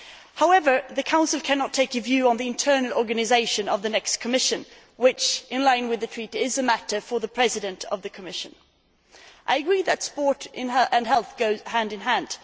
However, the Council cannot take a view on the internal organisation of the next Commission which, in line with the Treaty, is a matter for the President of the Commission. I agree that sport and health go hand in hand.